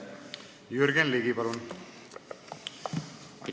Jürgen Ligi, palun!